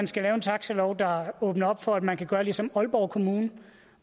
skal lave en taxalov der åbner op for at man kan gøre ligesom aalborg kommune